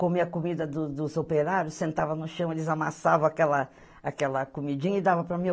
Comia a comida do dos operários, sentava no chão, eles amassavam aquela aquela comidinha e dava para mim.